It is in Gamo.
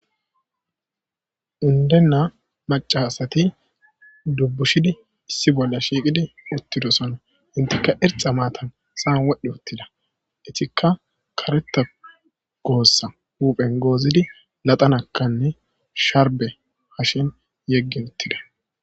Undenna macasati dubbushidi issi bolla shiiqidi uttido sana inteka irxa maatan saan wodhdhe ottida itikka kareta goossa huphen goozidi laxanakkanne sharbe hashen yeggin uttide.